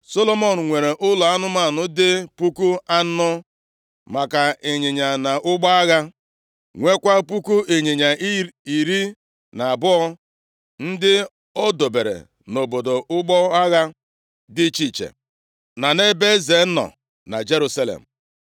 Solomọn nwere ụlọ anụmanụ dị puku anọ maka ịnyịnya na ụgbọ agha, nwekwa puku ịnyịnya iri na abụọ ndị o dobere nʼobodo ụgbọ agha dị iche iche, na nʼebe eze nọ na Jerusalem.